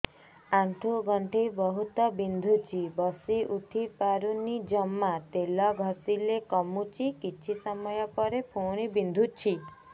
ଆଣ୍ଠୁଗଣ୍ଠି ବହୁତ ବିନ୍ଧୁଛି ବସିଉଠି ପାରୁନି ଜମା ତେଲ ଘଷିଲେ କମୁଛି କିଛି ସମୟ ପରେ ପୁଣି ବିନ୍ଧୁଛି